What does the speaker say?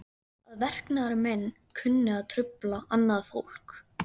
Að verknaður minn kunni að trufla annað fólk.